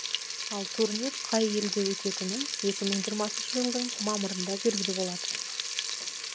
ал турнир қай елде өтетіні екі мың жиырмасыншы жылдың мамырында белгілі болады